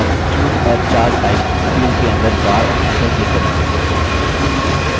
हम choose a chart type field के अंदर bar option पर click करेंगे